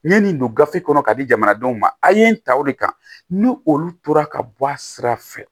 N ye nin don gafe kɔnɔ ka di jamanadenw ma a' ye n ta o de kan ni olu tora ka bɔ a sira fɛ